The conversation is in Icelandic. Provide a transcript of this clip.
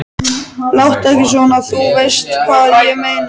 Láttu ekki svona. þú veist hvað ég meina.